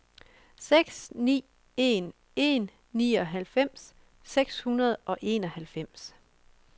seks ni en en nioghalvfems seks hundrede og enoghalvfems